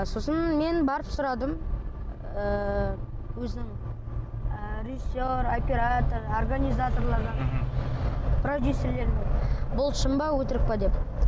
сосын мен барып сұрадым ыыы өзінің ы режиссер оператор организаторлардан мхм продюсерлерден бұл шын ба өтірік пе деп